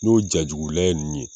N'o ja jugu layɛ ninnu ye